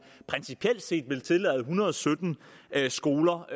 principielt set vil tillade en hundrede og sytten skoler